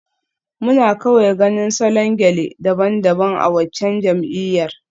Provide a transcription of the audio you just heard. Muna kawai ganin salon gele daban-daban a waccan jam'iyyar.